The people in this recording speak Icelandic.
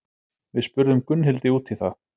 Við spurðum Gunnhildi út í það.